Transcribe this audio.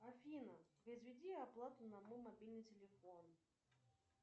афина произведи оплату на мой мобильный телефон